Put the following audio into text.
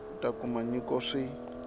a ta kuma nyiko swi